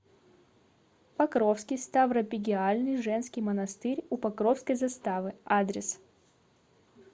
покровский ставропигиальный женский монастырь у покровской заставы адрес